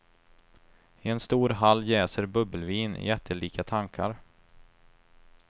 I en stor hall jäser bubbelvin i jättelika tankar.